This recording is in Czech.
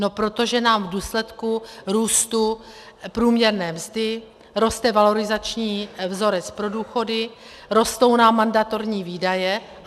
No protože nám v důsledku růstu průměrné mzdy roste valorizační vzorec pro důchody, rostou nám mandatorní výdaje.